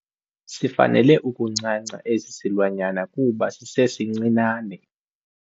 Sifanele ukuncanca esi silwanyana kuba sisesincinane.